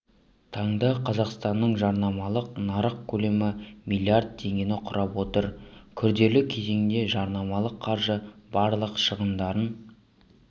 таңда қазақстанның жарнамалық нарық көлемі млрд теңгені құрап отыр күрделі кезеңде жарнамалық қаржы барлық шығындарын